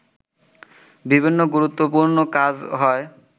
বিভিন্ন গুরুত্বপূর্ণ কাজ হয়